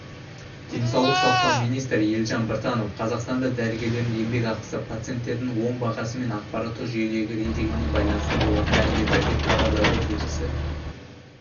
денаулық сақтау министрі елжан біртанов қазақстанда дәрігерлердің еңбекақысы пациенттердің оң бағасы мен ақпараттық жүйедегі рейтингіне байланысты болатынын мәлімдеді деп хабарлайды тілшісі